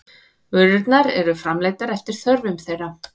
Vörurnar eru framleiddar eftir þörfum þeirra.